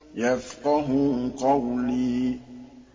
يَفْقَهُوا قَوْلِي